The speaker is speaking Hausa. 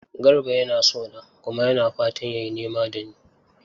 Garba yana so na kuma yana fatan ya yi nema da ni.